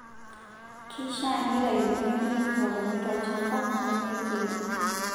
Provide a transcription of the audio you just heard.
Keishaa neitayuni nepiki nkikapuni tolchamba, nemiri teine.